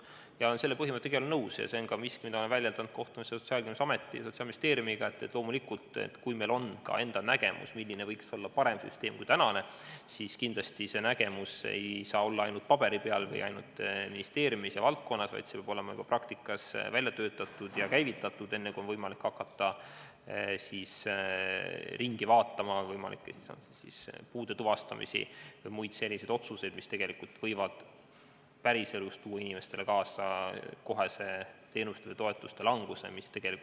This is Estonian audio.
Ja selle põhimõttega olen ma igal juhul nõus – see on miski, mida olen väljendanud ka kohtumistel Sotsiaalkindlustusameti ja Sotsiaalministeeriumiga –, et loomulikult, kui meil on nägemus, milline võiks olla parem süsteem kui tänane, siis kindlasti ei saa see nägemus olla ainult paberi peal või ainult ministeeriumis, vaid see peab olema ka praktikas välja töötatud ja käivitatud, enne kui on võimalik hakata ringi tegema võimalikku puude tuvastamist või muid selliseid otsuseid, mis võivad päriselus tuua inimestele kaasa teenuste või toetuste kättesaadavuse halvenemise.